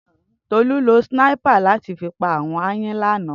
Tolu ló sìnáipá làti fi pá áwòn àáyàn làná